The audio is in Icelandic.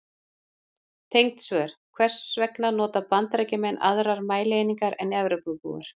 Tengd svör: Hvers vegna nota Bandaríkjamenn aðrar mælieiningar en Evrópubúar?